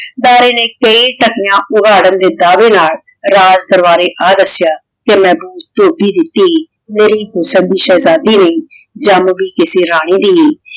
ਡਰੇ ਨੇ ਦੇ ਦਾਵੇ ਨਾਲ ਰਾਜ ਦਰਬਾਰੀ ਆ ਦਸ੍ਯਾ ਕ ਮੈਂ ਧੋਬੀ ਦੀ ਧੀ ਜੇਰੀ ਹੁਸਨ ਦੀ ਸ਼ੇਹ੍ਜ਼ਾਦੀ ਨੇ ਜਮ ਵੀ ਕਿਸੇ ਰਾਨੀ ਦੀ ਆਯ